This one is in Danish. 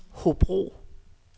Hobro